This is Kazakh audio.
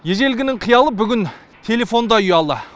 ежелгінің қиялы бүгін телефонда ұялы